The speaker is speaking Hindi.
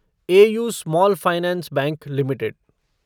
AU small finance bank limited